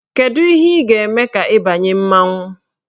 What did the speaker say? Kedu ihe ị ga-eme ka ị banye mmanwụ?